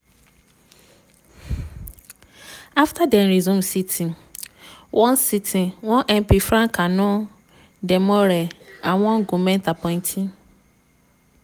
afta dem resume sitting one sitting one mp frank annor domoreh and one goment appointee